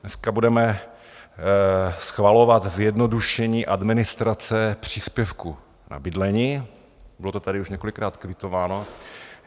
Dneska budeme schvalovat zjednodušení administrace příspěvku na bydlení, bylo to tady už několikrát kvitováno.